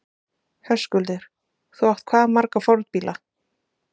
Höskuldur: Þú átt hvað marga fornbíla?